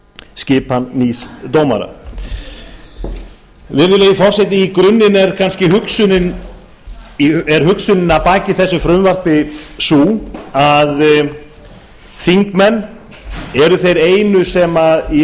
skipan nýs dómara virðulegi forseti í grunninn er kannski hugsunin að baki þessu frumvarpi sú að þingmenn eru þeir einu sem í